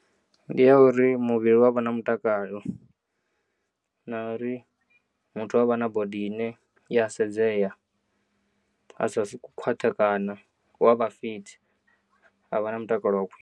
Ndi ya uri muvhili u avha na mutakalo na uri muthu u avha na body ine i ya sedzeya a sa si ku khwaṱhekana u avha fithi avha na mutakalo wa khwi.